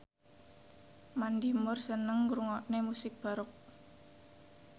Mandy Moore seneng ngrungokne musik baroque